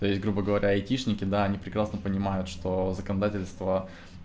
то есть грубо говоря айтишники да они прекрасно понимают что законодательство